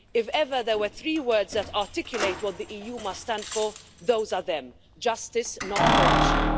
If ever there were three words which articulate what the EU must stand for, those are they justice, not corruption'.